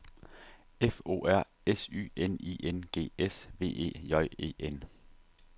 F O R S Y N I N G S V E J E N